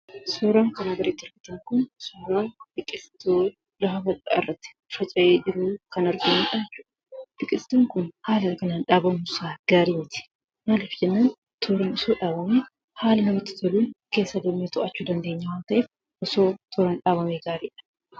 Suuraan kanaan gaditti argamu kun suuraa biqiltuu lafa irratti dhaabamee jiruu dha. Biqiltuun kunis magariisaa kan ta'ee fi garuu immoo to'achuuf kan namaaf hin mijaneedha. Sabbni isaas tooraan waan hin dhaabamneef.